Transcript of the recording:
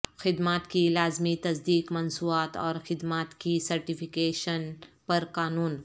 خدمات کی لازمی تصدیق مصنوعات اور خدمات کی سرٹیفیکیشن پر قانون